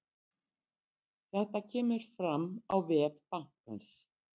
Þetta kemur fram á vef bankans